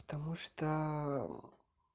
потому что